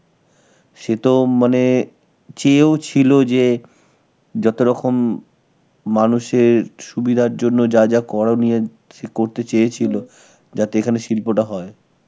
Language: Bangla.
সেতো মানে চেয়েও ছিল যে যতরকম মানুষের সুবিধার জন্য যা যা করণীয়, সে করতে চেয়েছিল , যাতে এখানে শিল্পটা হয়.